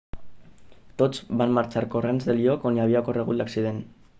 tots van marxar corrents del lloc on havia ocorregut l'accident